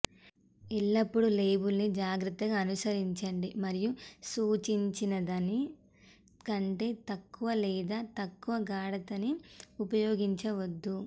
ఎల్లప్పుడు లేబుల్ని జాగ్రత్తగా అనుసరించండి మరియు సూచించినదాని కంటే తక్కువ లేదా తక్కువ గాఢతని ఉపయోగించవద్దు